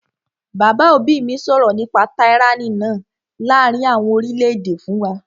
Bàbá òbí mi sọ nípa tyranny náà láàrin àwọn orílẹ̀-èdè fún wa